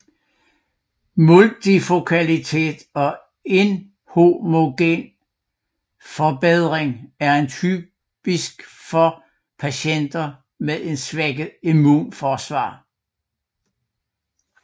Multifokalitet og inhomogen forbedring er typisk for patienter med et svækket immunsystem